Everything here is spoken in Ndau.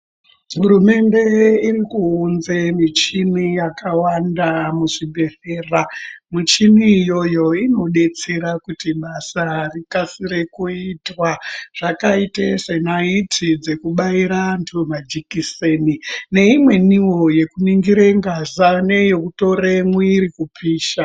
Hurumende irikuunze michini yakawanda muzvibhedhlera michini iyoyo inodetsera kuti basa rikasire kuitwa zvakaite senaiti dzekubaire antu majikiseni neimweniwo yekuningire ngazi neyekutora mwiri kupisha.